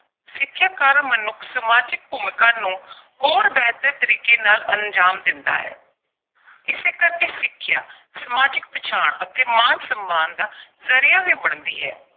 ਸਿੱਖਿਆ ਕਾਰਨ ਮਨੁੱਖ ਸਮਾਜਿਕ ਭੂਮਿਕਾ ਨੂੰ ਹੋਰ ਬਿਹਤਰ ਤਰੀਕੇ ਨਾਲ ਅੰਜ਼ਾਮ ਦਿੰਦਾ ਹੈ। ਇਸੇ ਕਰਕੇ ਸਿੱਖਿਆ, ਸਮਾਜਿਕ ਪਛਾਣ ਅਤੇ ਮਾਣ-ਸਨਮਾਨ ਦਾ ਜ਼ਰੀਆ ਵੀ ਬਣਦੀ ਹਾ।